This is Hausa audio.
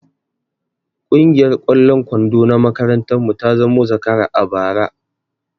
Kungiyar ƙwallon kwando na makarantar mu ta zamo zakara a bara